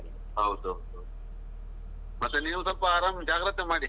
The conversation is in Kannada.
ಹೌದೌದು, ಮತ್ತೆ ನೀವು ಸ್ವಲ್ಪ ಆರಾಮ್ ಜಾಗ್ರತೆ ಮಾಡಿ.